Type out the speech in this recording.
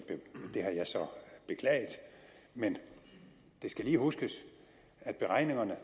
det har jeg så beklaget men det skal lige huskes at beregningerne